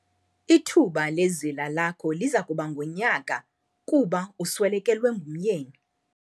Ithuba lezila lakho liza kuba ngunyaka kuba uswelekelwe ngumyeni.